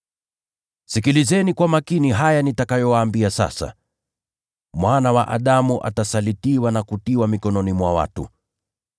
“Sikilizeni kwa makini haya nitakayowaambia sasa: Mwana wa Adamu atasalitiwa na kutiwa mikononi mwa watu.”